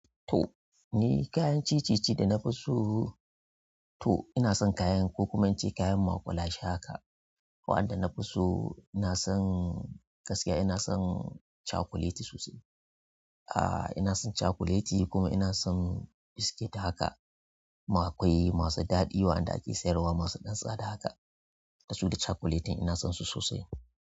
To ni kayan ciye ciye da na fi so to ina son kayan kokumanci, kayan maƙwalashe haka. Waɗanda na fi so ina son gaskiya ina son cakuleti sosai. Ina son cakuleti kuma ina son biskit haka kuma akwai masu daɗi waɗanda ake sayarwa masu ɗan tsada haka. Dasu da cakuletin ina son su sosai.